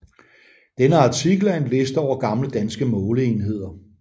Denne artikel er en liste over gamle danske måleenheder